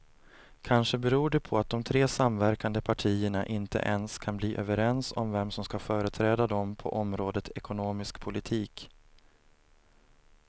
Kanske beror det på att de tre samverkande partierna inte ens kan bli överens om vem som ska företräda dem på området ekonomisk politik.